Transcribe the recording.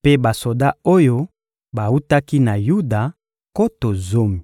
mpe basoda oyo bawutaki na Yuda, nkoto zomi.